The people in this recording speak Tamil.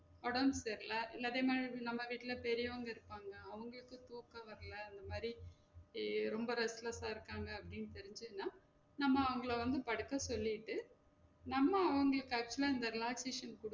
ஒடம்பு சரில இல்லாட்டி நம~ நம்ம வீட்ல பெரியோங்க இருபாங்க அவுங்களுக்கு தூக்கம் வரல அந்த மாறி ரொம்ப restless ஆ இருக்காங்க அப்டின்னு தெரிஜிச்சினா நம்ம அவுங்கள வந்து படுக்க சொல்லிட்டு நம்ம அவுங்களுக்கு actual ஆ இந்த relaxiation கொடுத்